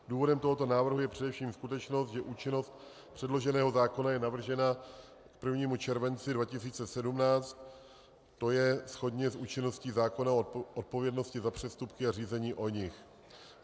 Důvodem tohoto návrhu je především skutečnost, že účinnost předloženého zákona je navržena k 1. červenci 2017, to je shodně s účinností zákona o odpovědnosti za přestupky a řízení o nich.